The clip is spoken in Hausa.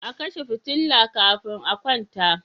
A kashe fitila kafin a kwanta.